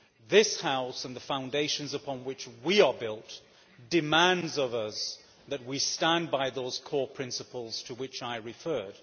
This House and the foundations upon which we are built demand of us that we stand by those core principles to which I referred.